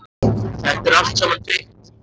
Þetta er allt saman tryggt, þú veist það.